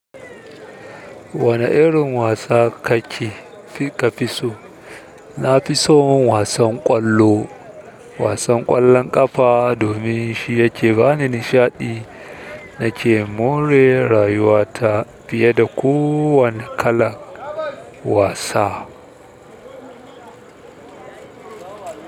Wane irin wasa kake fi ka fi so? Na fi son wasan ƙwallo, wasan ƙwallon ƙafa domin shi yake bani nishaɗi nake more rayuwa ta fiye da kowane kalan wasa.